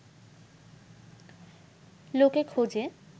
লোকে খোঁজে